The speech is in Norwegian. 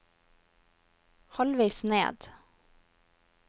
halvveis ned